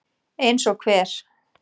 Eins og hver?